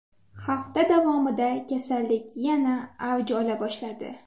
Hafta davomida kasallik yana avj ola boshladi.